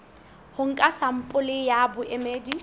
ho nka sampole ya boemedi